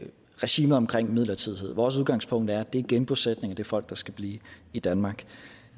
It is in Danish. regimet omkring midlertidighed vores udgangspunkt er at det er genbosætning og det er folk der skal blive i danmark